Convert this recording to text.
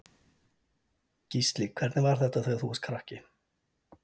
Gísli: Hvernig var þetta þegar þú varst krakki?